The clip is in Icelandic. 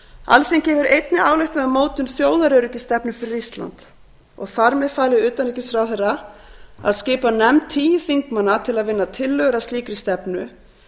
alþingi hefur einnig ályktað um mótun þjóðaröryggisstefnu fyrir ísland og þar með falið utanríkisráðherra að skipa nefnd tíu þingmanna til að vinna tillögur að slíkri stefnu